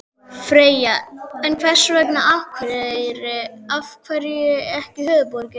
Freyja: En hvers vegna Akureyri, af hverju ekki höfuðborgin?